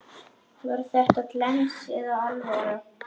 Var þetta glens eða alvara?